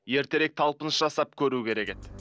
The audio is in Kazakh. ертерек талпыныс жасап көру керек еді